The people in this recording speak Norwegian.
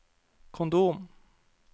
kondom